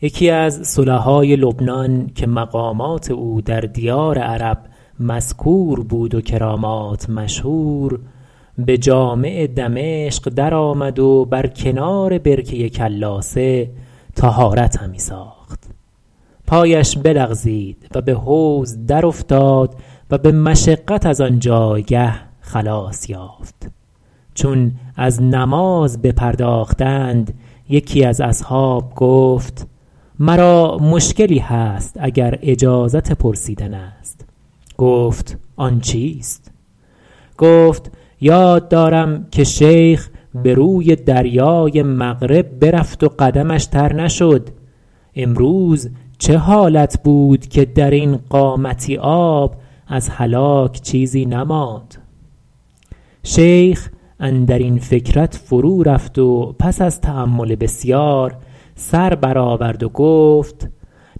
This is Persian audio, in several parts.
یکی از صلحای لبنان که مقامات او در دیار عرب مذکور بود و کرامات مشهور به جامع دمشق در آمد و بر کنار برکه کلاسه طهارت همی ساخت پایش بلغزید و به حوض در افتاد و به مشقت از آن جایگه خلاص یافت چون از نماز بپرداختند یکی از اصحاب گفت مرا مشکلی هست اگر اجازت پرسیدن است گفت آن چیست گفت یاد دارم که شیخ به روی دریای مغرب برفت و قدمش تر نشد امروز چه حالت بود که در این قامتی آب از هلاک چیزی نماند شیخ اندر این فکرت فرو رفت و پس از تأمل بسیار سر بر آورد و گفت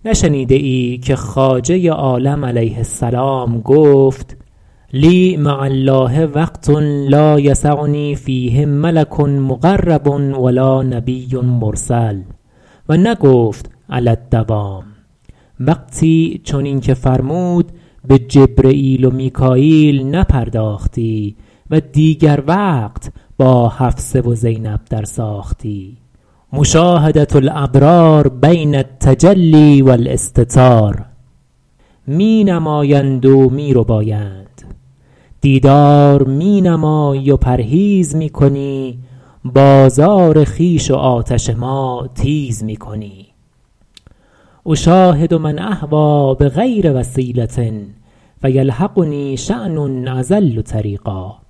نشنیده ای که خواجه عالم علیه السلام گفت لی مع الله وقت لا یسعنی فیه ملک مقرب و لا نبی مرسل و نگفت علی الدوام وقتی چنین که فرمود به جبرییل و میکاییل نپرداختی و دیگر وقت با حفصه و زینب در ساختی مشاهدة الابرار بین التجلی و الاستتار می نمایند و می ربایند دیدار می نمایی و پرهیز می کنی بازار خویش و آتش ما تیز می کنی اشاهد من اهویٰ بغیر وسیلة فیلحقنی شأن اضل طریقا